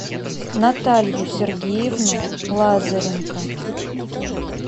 наталью сергеевну лазаренко